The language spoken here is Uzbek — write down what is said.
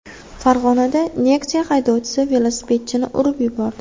Farg‘onada Nexia haydovchisi velosipedchini urib yubordi.